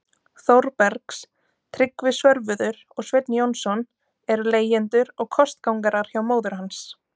Þórbergs- Tryggvi Svörfuður og Sveinn Jónsson- eru leigjendur og kostgangarar hjá móður hans.